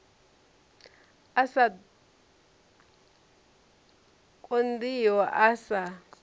a sa konḓiho a sa